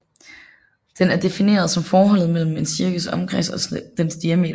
Den er defineret som forholdet mellem en cirkels omkreds og dens diameter